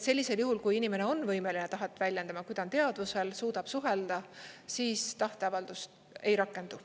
Sellisel juhul, kui inimene on võimeline tahet väljendama, kui ta on teadvusel, suudab suhelda, siis tahteavaldust ei rakendu.